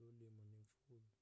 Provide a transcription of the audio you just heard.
lolimo nemfuyo